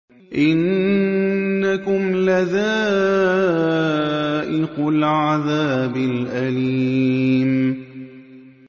إِنَّكُمْ لَذَائِقُو الْعَذَابِ الْأَلِيمِ